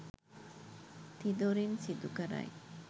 තිදොරින් සිදු කරයි.